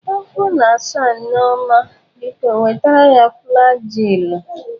Afọ na asa Nneoma, biko wetara ya flajilụ.